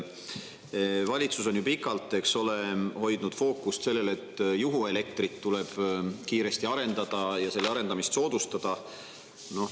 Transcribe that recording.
Valitsus on ju pikalt, eks ole, hoidnud fookust sellel, et juhuelektri tuleb kiiresti arendada ja selle arendamist soodustada.